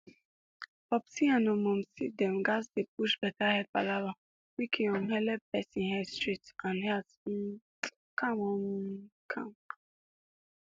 popsi and um momsi dem gatz dey push better head palava make e um helep person head straight and heart um calm um calm